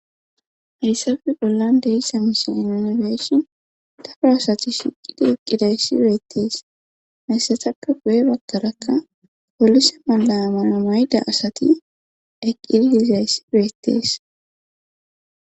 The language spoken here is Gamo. hayssafe bollan deyssa misa imanabeeshin daro asati shiqida iqqidayssi beettees heessatappe guye bakkarakka polise malaamara mayda asati eqqididizayss beettees